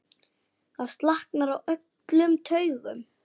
Það slaknar á öllum taugum.